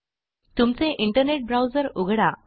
तुमचे internet browser उघडा